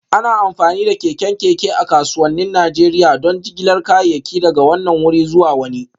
Ana amfani da keken keke a kasuwannin Najeriya don jigilar kayayyaki daga wannan wuri zuwa wani